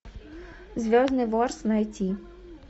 звездный ворс найти